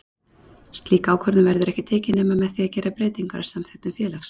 Slík ákvörðun verður ekki tekin nema með því að gera breytingar á samþykktum félags.